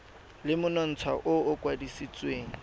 le monontsha o o kwadisitsweng